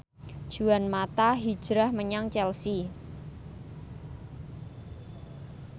Juan mata hijrah menyang Chelsea